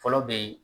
Fɔlɔ be yen